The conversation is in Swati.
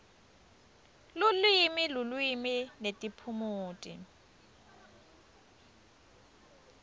lulwimi lulwimi netiphumuti